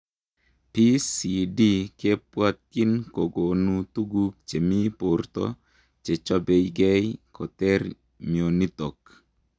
PCD kebwatyiin kokonuu tuguk chemii portoo chechopei gei koter mionitok